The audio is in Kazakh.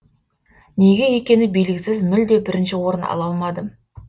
неге екені белгісіз мүлде бірінші орын ала алмадым